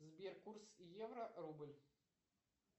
сбер курс евро рубль